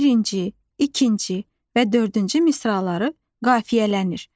Birinci, ikinci və dördüncü misraları qafiyələnir.